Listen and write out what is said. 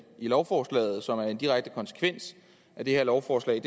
lovforslaget som en direkte konsekvens af det her lovforslag